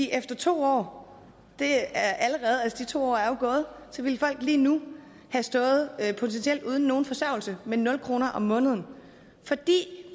efter to år og de to år er jo gået lige nu ville have stået potentielt uden nogen forsørgelse med nul kroner om måneden fordi